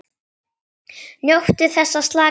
NJÓTTU ÞESS AÐ SLAKA Á